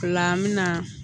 Ola an mina